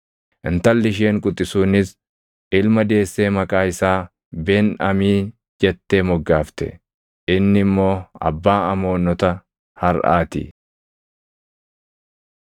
Intalli isheen quxisuunis ilma deessee maqaa isaa Ben-Amii jettee moggaafte; inni immoo abbaa Amoonota harʼaa ti.